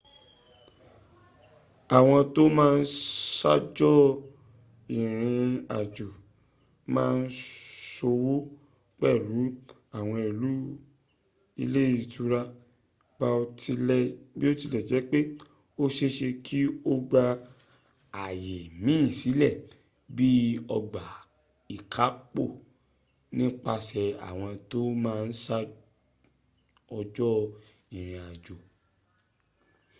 àwọn tó ma n ṣaájò ìrìn àjò ma n ṣòwò pẹ̀lú àwọn ilé ìtura biotilejepe o ṣeéṣe ki o gba àyè míìn sílẹ̀ bii ọgbà ikapo nípasẹ̀ àwọn tó ma n ṣaájò ìrìn àjò